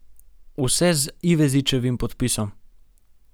Vse z Ivezičevim podpisom.